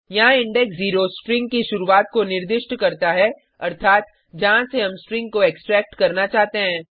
यहाँ index 0 string की शुरूआत को निर्दिष्ट करता है अर्थात जहाँ से हम स्ट्रिंग को एक्सट्रैक्ट करना चाहते हैं